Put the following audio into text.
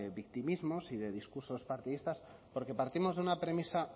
victimismos y de discursos partidistas porque partimos de una premisa